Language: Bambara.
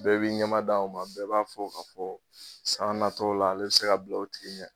Bɛɛ b'i ɲɛmada o ma bɛɛ b'a fɔ k'a fɔ san natɔ la ale be se ka bila o tigi ɲɛ